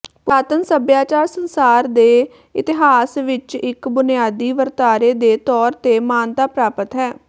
ਪੁਰਾਤਨ ਸਭਿਆਚਾਰ ਸੰਸਾਰ ਦੇ ਇਤਿਹਾਸ ਵਿਚ ਇਕ ਬੁਨਿਆਦੀ ਵਰਤਾਰੇ ਦੇ ਤੌਰ ਤੇ ਮਾਨਤਾ ਪ੍ਰਾਪਤ ਹੈ